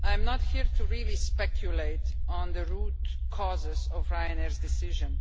I'm not here to really speculate on the root causes of Ryanair's decision.